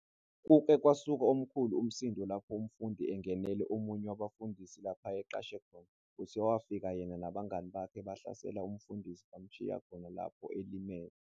Kuke kwasuka omkhulu umsindo lapho umfundi engenele omunye wabafundisi lapho ayeqashe khona, kuthiwa wafika yena nabangani bakhe bahlasela umfundisi bamshiya khona lapho elimele.